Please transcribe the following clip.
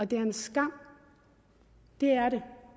det er en skam det er det